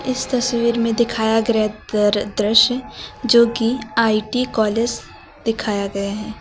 इस तस्वीर में दिखाया गया दृश्य जो कि आई_टी कॉलेज दिखाया गया है।